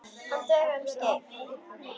Hann dugði um skeið.